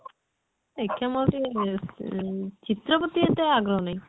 ଦେଖିଆ ମୁଁ ଆଉ ଟିକେ ଏଁ ଚିତ୍ର ପ୍ରତି ଏତେ ଆଗ୍ରହ ନାହିଁ